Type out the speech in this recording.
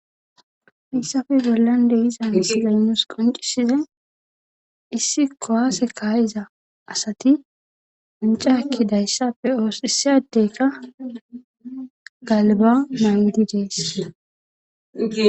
hissappe bollan deiza misiley nus qonccisizay issi kuwaase kaayiza asati wancca ekkidayssa be'oos.issi adeykka galba maayidi dees.